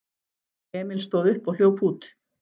Emil stóð upp og hljóp út.